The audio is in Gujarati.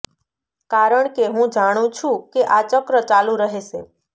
કારણ કે હું જાણું છું કે આ ચક્ર ચાલુ રહેશે